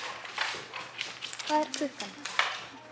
Hansína, hvað er klukkan?